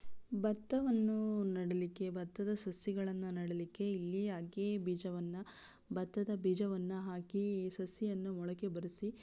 ಬತ್ತವನ್ನು ನಡ್ದೆಯಲಿಕೆ ಬತ್ತದ ಸೊಸಿಗಳನ್ನು ನಡಿಯಲಿಕ್ಕೆ ಇಲ್ಲಿ ಹಾಕಿ ಬೀಜವನ್ನು ಬತ್ತದ ಬೀಜಗಳನ್ನ ಹಾಕಿ ಸಸಿಗಳನ್ನು ಮೊಳಕೆ ಬರೆಸಿ --